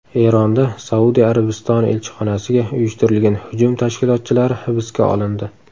Eronda Saudiya Arabistoni elchixonasiga uyushtirilgan hujum tashkilotchilari hibsga olindi.